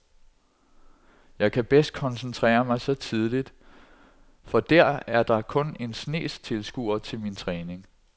Jeg kan bedst koncentrere mig så tidligt, for dér er der kun en snes tilskuere til min træning.